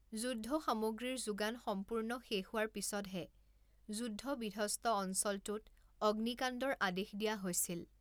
যুদ্ধসামগ্ৰীৰ যোগান সম্পূৰ্ণ শেষ হোৱাৰ পিছতহে যুদ্ধবিধ্বস্ত অঞ্চলটোত অগ্নিকাণ্ডৰ আদেশ দিয়া হৈছিল।